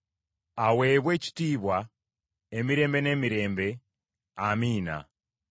aweebwe ekitiibwa emirembe n’emirembe. Amiina.